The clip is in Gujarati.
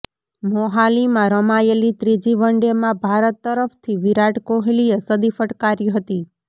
મોહાલીમાં રમાયેલી ત્રીજી વનડેમાં ભારત તરફથી વિરાટ કોહલીએ સદી ફટકારી હતી